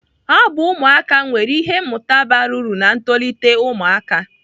Abụ ụmụaka nwere ihe mmụta bara uru na ntolite ụmụaka.